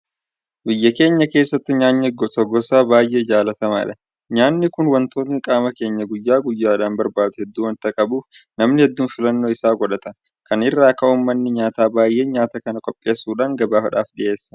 Biyya keenya keessatti nyaanni gosa gosaa baay'ee jaalatamaadha. Nyaanni kun waantota qaamni keenya guyyaa guyyaadhaan barbaadu hedduu waanta qabuuf namni hedduun filannoo isaa godhata. Kana irraa ka'uun manni nyaataa baay'een nyaata kana qopheessuudhaan gabaadhaaf dhiyeessa.